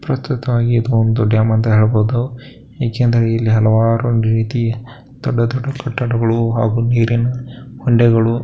ಪ್ರಪ್ರಥಮವಾಗಿ ಇದು ಒಂದು ಡ್ಯಾಮ್ ಅಂತ ಹೇಳಬಹುದು ಏಕೆಂದರೆ ಇಲ್ಲಿ ಹಲವಾರು ರೀತಿ ದೊಡ್ದ ದೊಡ್ದ ಕಟ್ಟಡಗಳು ಹಾಗು ನೀರಿನ ಹೊಂಡೆಗಳು --